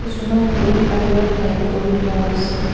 কিছুমান বেগ বাহিৰত হেংগ কৰি থোৱা আছে।